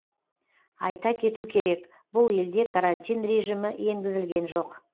айта кету керек бұл елде карантин режимі енгізілген жоқ